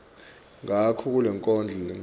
ngako kulenkondlo lengenhla